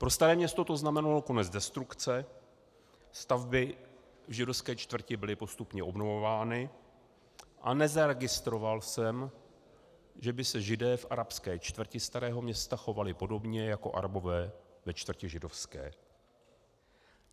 Pro Staré Město to znamenalo konec destrukce, stavby v židovské čtvrti byly postupně obnovovány a nezaregistroval jsem, že by si Židé v arabské čtvrti Starého Města chovali podobně jako Arabové ve čtvrti židovské.